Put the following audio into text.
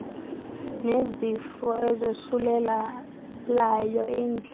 nezifo ezosulelayo indlala